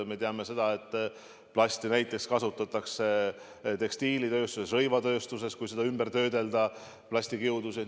Me teame, et plasti kasutatakse näiteks tekstiilitööstuses, rõivatööstuses, kasutatakse plastikiudusid.